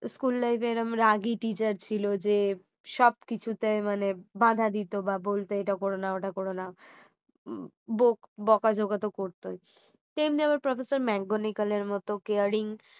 school life এ এরকম রাগী teacher ছিল যে সবকিছুতে মানে বাধা দিত বা বলতে এটা করো না ওটা করো না বক~ বকাঝকা তো করতোই তেমনি আবার professor ম্যাগনিকাল এর মতো caring